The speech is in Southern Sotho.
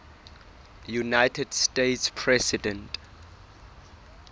united states president